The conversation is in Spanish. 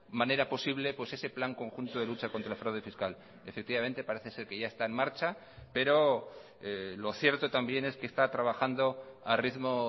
manera posible ese plan conjunto de lucha contra el fraude fiscal efectivamente parece ser que ya está en marcha pero lo cierto también es que está trabajando a ritmo